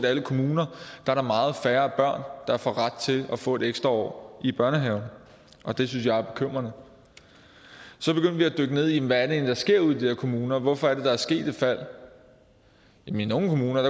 alle kommuner er meget færre børn der får ret til at få et ekstra år i børnehaven og det synes jeg er bekymrende så begyndte vi at dykke ned i hvad der egentlig sker ude i de der kommuner hvorfor er det at der er sket et fald i nogle kommuner